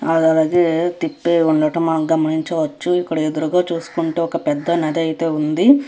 అది అలాగే తిప్పి ఉండడం మనం గమనించవచ్చు ఇక్కడ ఎదురుగా చూసుకుంటే ఒక పెద్ద నది అయితే ఉంది.